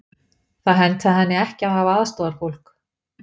Það hentaði henni ekki að hafa aðstoðarfólk.